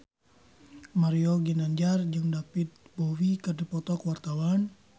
Mario Ginanjar jeung David Bowie keur dipoto ku wartawan